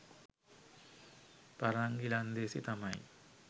පරංගි ලන්දේසි තමයි